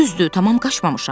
Düzdür, tamam qaçmamışam.